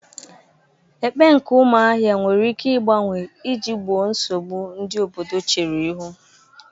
Ekpe nke umuahia nwere ike igbanwe iji gboo nsogbu ndi obodo chere ihu.